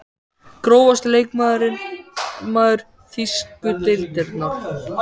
Grófasti leikmaður þýsku deildarinnar?